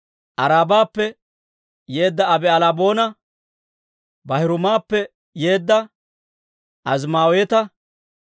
Aarabappe yeedda Abi'albboona, Baahiruumappe yeedda Azimaaweeta,